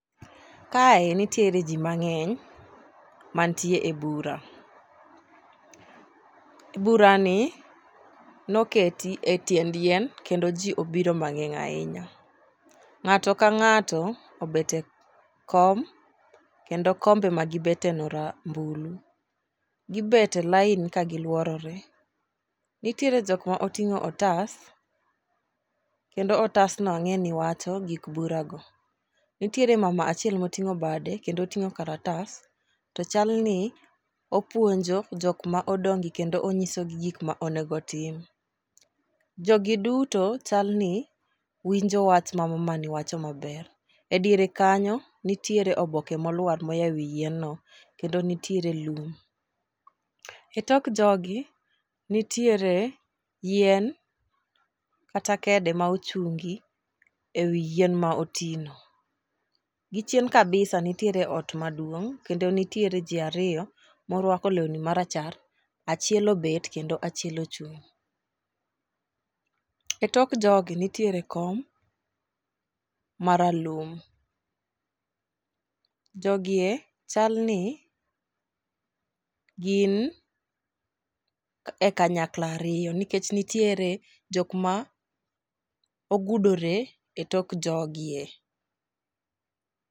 Kae nitiere ji mang'eny mantie e bura, burani noketi e tiend yien kendo ji obiro mang'eny ahinya. Ng'ato ka ng'ato obet e kom kendo kombe magibeteno rambulu. Gibet e lain kagilworore. Nitiere jok ma oting'o otas kendo otasno ang'e ni wacho gik burago. Nitiere mama achiel moting'o bade kendo oting'o karatas, to chalni opuonjo jok ma odong'gi kendo onyisogi gik ma onego otim. Jogi duto chalni winjo wach ma mamani wacho maber. E diere kanyo nitiere oboke molwar moya e wi yienno, kendo nitiere lum. E tok jogi, nitiere yien kata kede ma ochungi e wi yien ma otino. Gi chien kabisa nitiere ot maduong' kendo nitiere ji ariyo morwako lewni marachar, achiel obet kendo achiel ochung', .E tok jogi nitiere kom maralum. Jogi e chalni gin e kanyakla ariyo nikech nitiere jok ma ogudore e tok jogie.